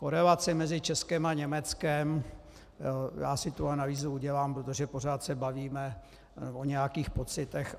Korelace mezi Českem a Německem - já si tu analýzu udělám, protože pořád se bavíme o nějakých pocitech.